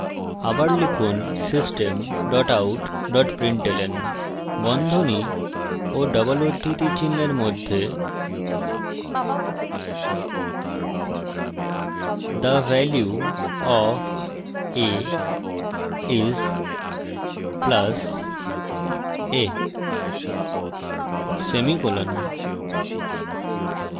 আবার লিখুন system dot out dot println বন্ধনী ও ডবল উদ্ধৃতি চিনহের মধ্যে the value of a is + a semicolon